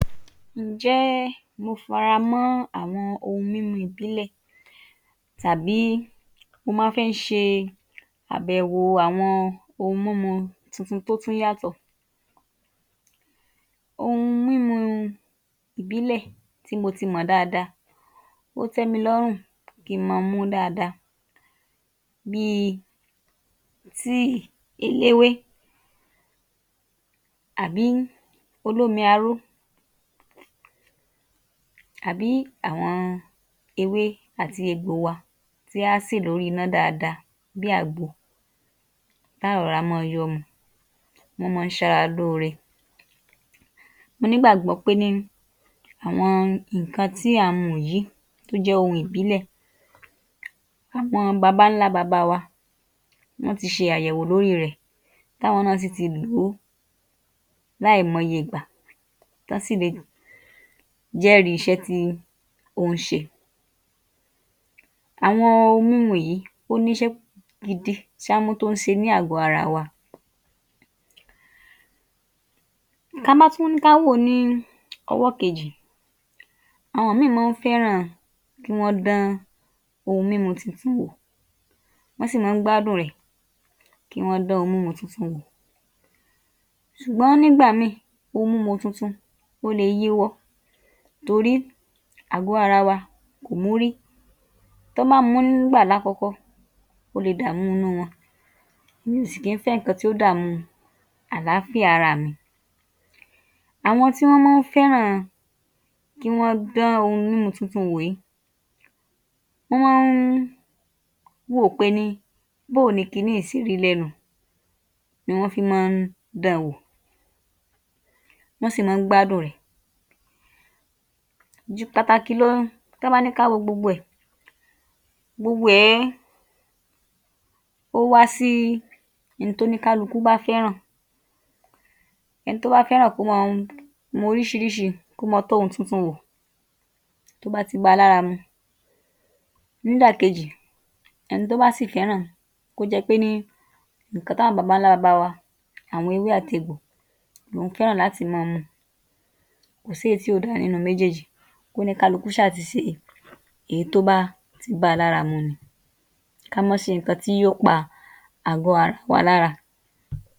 Ǹjẹ́ mo faramọ́ àwọn ohun mímu ìbílẹ̀? Tàbí mo máa fí ń ṣe àbẹ̀wò àwọn ohun mímu tuntun tó tún yàtọ̀? Ohun mímu ìbílẹ̀ tí mo ti mọ̀ dáadáa, ó tẹ́ mi lọ́rùn kí n mọ mú dáadáa bí i tíì eléwé àbí olómi-aró, àbí àwọn ewé àti egbò wa tí áá sè lórí iná dáadáa bí i àgbo, tá á rọra mọ́ ọ yọ́ ọ mu, wọ́n mọ́ ń ṣara lóore. Mo ní gbàgbọ́ pé ní àwọn nǹkan tí à ń mu yìí, tó jẹ́ ohun ìbílẹ̀, àwọn baba-ńlá-baba wa, wọ́n ti ṣe àyẹ̀wò lórí rẹ̀, táwọn náà sì ti lò ó láìmọye ìgbà, tọ́n sì le jẹ́rìí iṣẹ́ tí ó ń ṣe. Àwọn ohun mímu yìí, ó níṣẹ́ gidi tọ́n mọ́ tún ń ṣe ní àgọ̀-ara wa. Ka bá tún ní ká wò ó ní owó kejì, àwọn míì mọ́ ń fẹ́ràn kí wọ́n dán ohun mímu titun wò, wọ́n sì mọ́ ń gbádùn rẹ̀ kí wọ́n dán ohun mímu titun wò. Ṣùgbọ́n nígbà míì, ohun mímu titun, ó le yíwọ́ torí àgọ́-ara wa kò mu ú rí. Tọ́n bá mu ú nígbà laá́kọ̀ọ́kọ́, ó le dààmú inú wọn, èmi òsì kí ń fẹ́ nǹkan tí yóò dààmú àlááfíà araà mi. Àwọn tí wọ́n nmọ́ ń fẹ́ràn kí wọ́n dán ohun mímu titun wò yìí, wọ́n mọ́ ń wò ó pé ní bóo ni ki ní yìí ṣe rí lẹ́nu, ni wọ́n fí mọ́ ń dán an wò, wọ́n sì mọ́ ń gbádùn rẹ̀. Jù pàtàkì lọ, tọ́n bá ní ká wo gbogbo rẹ̀, gbogbo ẹ̀ẹ́ ó wá sí hun tóní kálukú bá fẹ́ràn, ẹni tó bá fẹ́ràn kó mọ́ọ mu oríṣiríṣi, kó mọ́ọ tọ́ ohun titun wò, tó bá ti bá a lára mu. Nídàkejì, ẹni tó bá sì fẹ́ràn kó jẹ pé ní nǹkan tí àwọn baba-ńlá-baba wa, àwọn ewé àti egbò lòún fẹ́ràn láti mọ mọ́ọ mu, kò sí èyí tí ò da nínú méjéèjì, kóní kálukú ṣáà ti ṣe èyí tó bá ti bá a lára mu ni. ká má ṣe nǹkan tí yóò pa àgọ̀-ara wa lára.